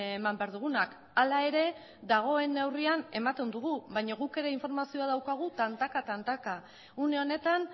eman behar dugunak hala ere dagoen neurrian ematen dugu baina guk ere informazio daukagu tantaka tantaka une honetan